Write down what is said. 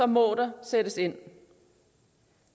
må der sættes ind